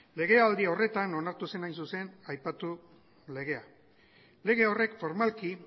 legealdi horretan onartu zen hain zuzen aipatutako legea lege horrek formalki